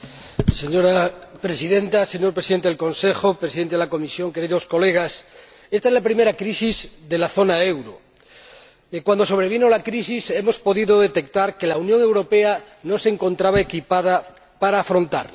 Señora Presidenta, señor Presidente del Consejo en ejercicio, señor Presidente de la Comisión, queridos colegas, ésta es la primera crisis de la zona del euro, y cuando sobrevino la crisis hemos podido detectar que la Unión Europea no se encontraba equipada para afrontarla.